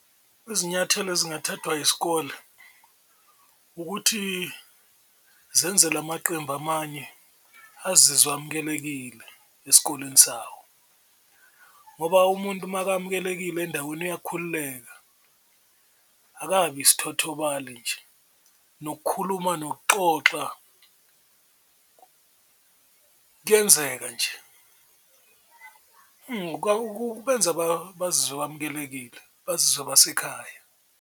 Izinyathelo ezingathathwa yisikole ukuthi zenze la maqembu amanye azizwe amukelekile esikoleni sawo ngoba umuntu, uma amukelekile endaweni uyakhululeka akabi isithothobale nje nokukhuluma nokuxoxa kuyenzeka nje kubenza bazizwe bamukelekile bazizwe basekhaya.